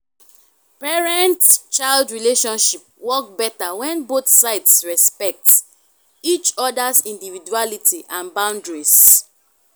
parent-child relationship work better when both sides respect each other’s individuality and boundaries.